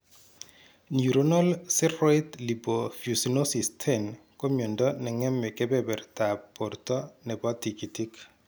Neuronal ceroid lipofuscinosis 10 ko myondo neng'eme kebebertab borto nebo tigitik